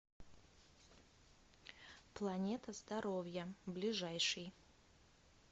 планета здоровья ближайший